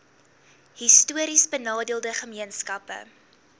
histories benadeelde gemeenskappe